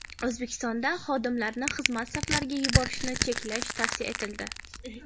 O‘zbekistonda xodimlarni xizmat safarlariga yuborishni cheklash tavsiya etildi.